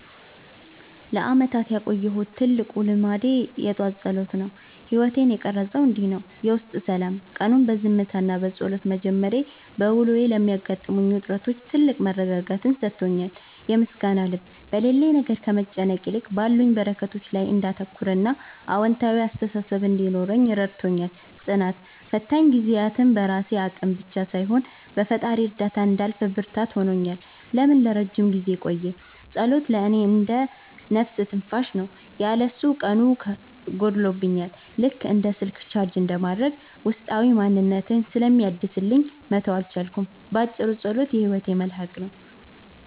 ለዓመታት ያቆየሁት ትልቁ ልማዴ የጠዋት ጸሎት ነው። ሕይወቴን የቀረፀውም እንዲህ ነው፦ የውስጥ ሰላም፦ ቀኑን በዝምታና በጸሎት መጀመሬ፣ በውሎዬ ለሚገጥሙኝ ውጥረቶች ትልቅ መረጋጋትን ሰጥቶኛል። የምስጋና ልብ፦ በሌለኝ ነገር ከመጨነቅ ይልቅ ባሉኝ በረከቶች ላይ እንዳተኩርና አዎንታዊ አስተሳሰብ እንዲኖረኝ ረድቶኛል። ጽናት፦ ፈታኝ ጊዜያትን በራሴ አቅም ብቻ ሳይሆን በፈጣሪ እርዳታ እንዳልፍ ብርታት ሆኖኛል። ለምን ለረጅም ጊዜ ቆየ? ጸሎት ለእኔ እንደ "ነፍስ ትንፋሽ" ነው። ያለ እሱ ቀኑ ጎድሎብኛል፤ ልክ እንደ ስልክ ቻርጅ እንደማድረግ ውስጣዊ ማንነቴን ስለሚያድስልኝ መተው አልቻልኩም። ባጭሩ፣ ጸሎት የሕይወቴ መልሕቅ ነው።